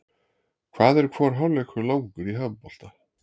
Hvað er hvor hálfleikur langur í handbolta?